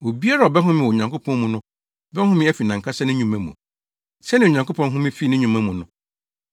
Obiara a ɔbɛhome wɔ Onyankopɔn mu no bɛhome afi nʼankasa ne nnwuma mu, sɛnea Onyankopɔn home fii ne nnwuma mu no.